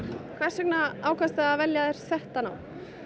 hvers vegna ákvaðstu að velja þér þetta nám